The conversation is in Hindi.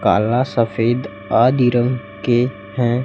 काला सफेद आदि रंग के हैं।